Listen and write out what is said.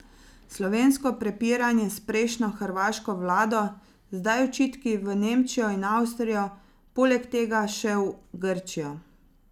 Slovensko prepiranje s prejšnjo hrvaško vlado, zdaj očitki v Nemčijo in Avstrijo, poleg tega še v Grčijo...